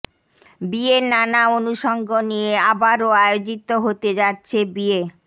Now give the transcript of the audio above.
বিয়ের নানা অনুষঙ্গ নিয়ে আবারও আয়োজিত হতে যাচ্ছে বিয়ে